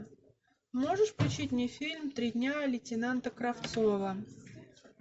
можешь включить мне фильм три дня лейтенанта кравцова